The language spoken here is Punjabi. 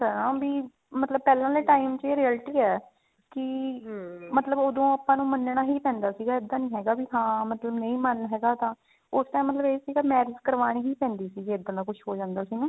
ਵੀ ਮਤਲਬ ਪਹਿਲਾਂ ਵਾਲੇ time ਚ ਇਹ realty ਹੈ ਕੀ ਮਤਲਬ ਓਦੋਂ ਆਪਾਂ ਨੂੰ ਮੰਨਣਾ ਹੀ ਪੈਂਦਾ ਸੀਗਾ ਇੱਦਾਂ ਨੀ ਹੈਗਾ ਵੀ ਨਾ ਮਤਲਬ ਨਹੀਂ ਮਨ ਹੈਗਾ ਤਾਂ ਉਸ time ਮਤਲਬ ਇਹ ਸੀਗਾ marriage ਕਰਵਾਉਣੀ ਹੀ ਪੈਂਦੀ ਸੀ ਜੇ ਇੱਦਾਂ ਦਾ ਕੁਛ ਹੋ ਜਾਂਦਾ ਸੀਗਾ ਨਾ